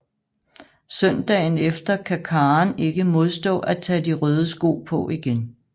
Søndagen efter kan Karen ikke modstå at tage de røde sko på igen